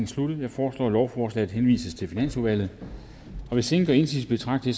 sluttet jeg foreslår at forslaget henvises til finansudvalget hvis ingen gør indsigelse betragter